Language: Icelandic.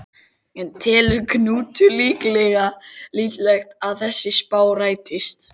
En telur Knútur líklegt að þessi spá rætist?